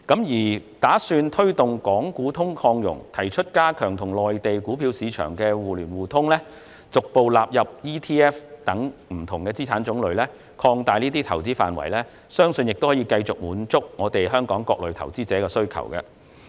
預算案打算推動"港股通"擴容，包括提出加強與內地股票市場互聯互通，逐步納入 ETF 等不同資產種類，以及擴大這些投資的範圍，我相信這些措施亦可繼續滿足香港各類投資者的需求。